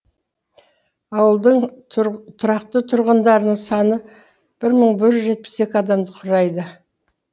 ауылдың тұрақты тұрғындарының саны бір мың бір жүз жетпіс екі адамды құрайды